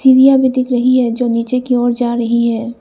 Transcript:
सीढ़ियां भी दिख रही है जो नीचे की ओर जा रही है।